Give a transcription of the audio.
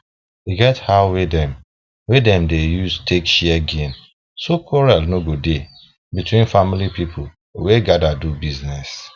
e get how wey dem wey dem dey use take share gain so quarrel no go dey between family people wey gather dey do bizness